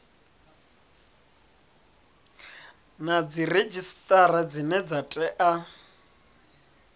na dziredzhisitara dzine dza tea